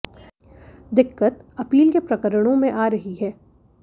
दिक्कत अपील के प्रकरणों में आ रही है